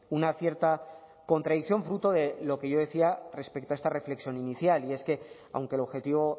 una cierta contradicción fruto de lo que yo decía respecto a esta reflexión inicial y es que aunque el objetivo